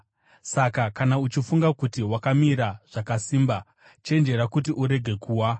Saka, kana uchifunga kuti wakamira zvakasimba, chenjera kuti urege kuwa!